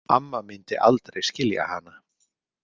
Amma myndi aldrei skilja hana.